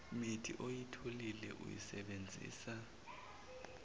mithi oyitholile uyisebenzisa